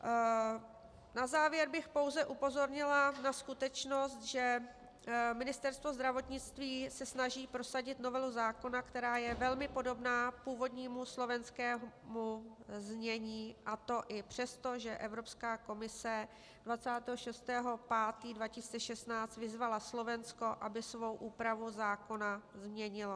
Na závěr bych pouze upozornila na skutečnost, že Ministerstvo zdravotnictví se snaží prosadit novelu zákona, která je velmi podobná původnímu slovenskému znění, a to i přesto, že Evropská komise 26. 5. 2016 vyzvala Slovensko, aby svou úpravu zákona změnilo.